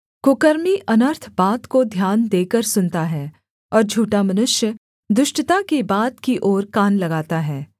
कुकर्मी अनर्थ बात को ध्यान देकर सुनता है और झूठा मनुष्य दुष्टता की बात की ओर कान लगाता है